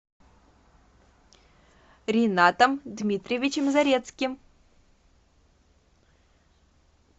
ринатом дмитриевичем зарецким